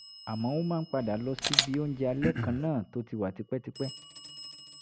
àmọ́ ó máa ń padà lọ síbi oúnjẹ alẹ́ kan náà tó ti wà tipẹ́tipẹ́